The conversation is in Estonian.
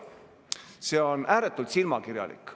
See on ääretult silmakirjalik.